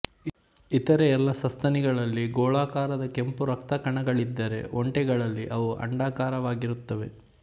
ಇತರೆ ಎಲ್ಲ ಸಸ್ತನಿಗಳಲ್ಲಿ ಗೋಳಾಕಾರದ ಕೆಂಪುರಕ್ತಕಣಗಳಿದ್ದರೆ ಒಂಟೆಗಳಲ್ಲಿ ಅವು ಅಂಡಾಕಾರವಾಗಿರುತ್ತವೆ